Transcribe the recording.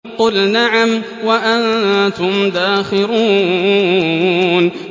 قُلْ نَعَمْ وَأَنتُمْ دَاخِرُونَ